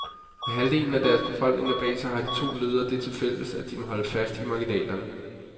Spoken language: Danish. Med halvdelen af deres befolkninger bag sig har de to ledere det til fælles, at de må holde fast i marginalerne.